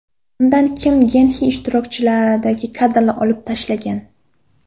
Undan Kim Gen Xi ishtirokidagi kadrlar olib tashlangan.